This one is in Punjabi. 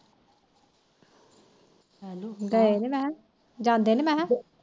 ਗਏ ਨੀ ਮੈਖਾ ਜਾਂਦੇ ਨੀ ਮੈਖਾ